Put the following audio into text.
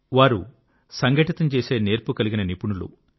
వారు సంఘటితం చేసే నేర్పు కలిగిన నిపుణులు